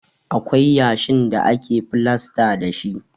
Akwai yashin da ake filasta dashi.